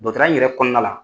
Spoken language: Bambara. Dɔtɔrɔya in yɛrɛ kɔnɔna la.